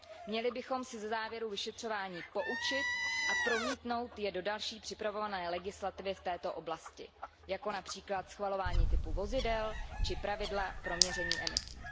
Měli bychom se ze závěrů vyšetřování poučit a promítnout je do další připravované legislativy v této oblasti, jako například schvalování typu vozidel či pravidla pro měření emisí.